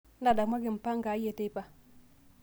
ntadamuaki mpango aai eteipa